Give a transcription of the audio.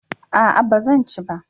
a'a ba zan ci ba